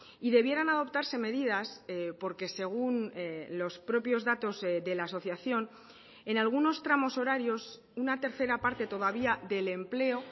y debieran adoptarse medidas porque según los propios datos de la asociación en algunos tramos horarios una tercera parte todavía del empleo